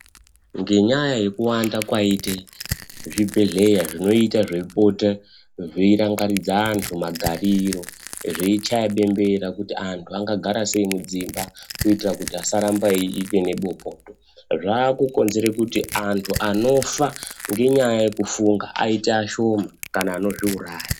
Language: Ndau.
Ngenyaya yekuwanda kwaite zvibhedhlera zvinoita zveipota zveirangaridza antu magariro, zveichaya bembera kuti antu angagara sei mudzimba kuitira kuti asaramba eive nebopoto. Zvakukonzere kuti antu anofa ngenyaya yekufunga aite ashoma kana anozviuraya.